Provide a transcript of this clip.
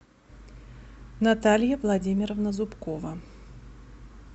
наталья владимировна зубкова